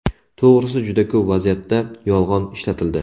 To‘g‘risi, juda ko‘p vaziyatda yolg‘on ishlatildi.